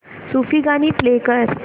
सूफी गाणी प्ले कर